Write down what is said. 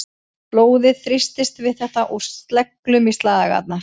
Blóðið þrýstist við þetta úr sleglum í slagæðarnar.